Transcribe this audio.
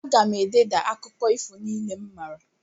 Aga m ededa akụkọ ifo niile m maara.